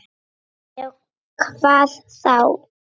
Já, hvað þá?